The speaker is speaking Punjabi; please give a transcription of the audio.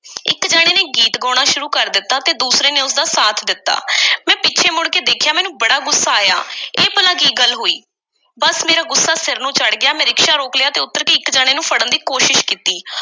ਇੱਕ ਜਣੇ ਨੇ ਗੀਤ ਗਾਉਣਾ ਸ਼ੁਰੂ ਕਰ ਦਿੱਤਾ ਅਤੇ ਦੂਸਰੇ ਨੇ ਉਸ ਦਾ ਸਾਥ ਦਿੱਤਾ। ਮੈਂ ਪਿੱਛੇ ਮੁੜ ਕੇ ਦੇਖਿਆ। ਮੈਨੂੰ ਬੜਾ ਗੁੱਸਾ ਆਇਆ। ਇਹ ਭਲਾ ਕੀ ਗੱਲ ਹੋਈ? ਬੱਸ, ਮੇਰਾ ਗੁੱਸਾ ਸਿਰ ਨੂੰ ਚੜ੍ਹ ਗਿਆ। ਮੈਂ ਰਿਕਸ਼ਾ ਰੋਕ ਲਿਆ ਤੇ ਉੱਤਰ ਕੇ ਇੱਕ ਜਣੇ ਨੂੰ ਫੜਨ ਦੀ ਕੋਸ਼ਸ਼ ਕੀਤੀ।